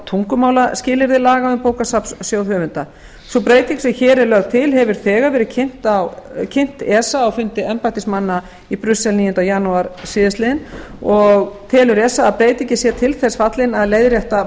laga um bókasafnssjóð höfunda sú breyting sem hér er lögð til hefur þegar verið kynnt esa á fundi embættismanna í brussel níunda janúar síðastliðinn og telur esa að breytingin sé til þess fallin að leiðrétta